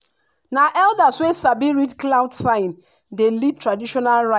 na elders wey sabi read cloud sign dey lead traditional rite.